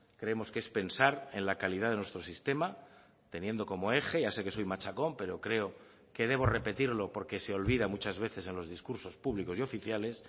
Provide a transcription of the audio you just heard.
creemos que es pensar en la calidad de nuestro sistema teniendo como eje ya sé que soy machacón pero creo que debo repetirlo porque se olvida muchas veces en los discursos públicos y oficiales